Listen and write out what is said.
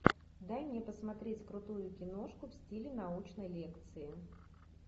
дай мне посмотреть крутую киношку в стиле научной лекции